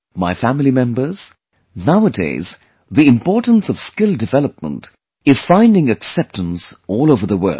My family members, nowadays the importance of skill development is finding acceptance all over the world